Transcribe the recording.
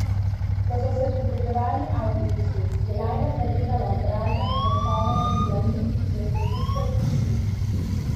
Ko so se približali avtobusu, je Lajla zagledala obraze, nosove in dlani, ki so se stiskali k šipi.